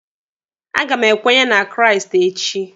A ga m ekwenye na Kraịst echi.